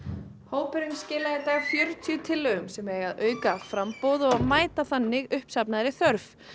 hópurinn skilaði í dag fjörutíu tillögum sem eiga að auka framboð og mæta þannig uppsafnaðri þörf